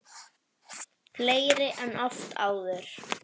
Fleiri en oft áður.